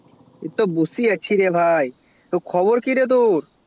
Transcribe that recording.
এই তো বসে আছি রে ভাই তো খবর কি রে ভাই